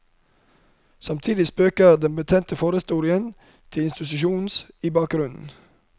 Samtidig spøker den betente forhistorien til institusjonen ibakgrunnen.